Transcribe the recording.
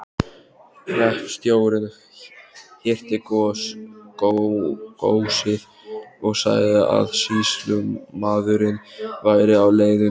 Hreppstjórinn hirti góssið og sagði að sýslumaðurinn væri á leiðinni.